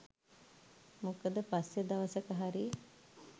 මොකද පස්සෙ දවසක හරි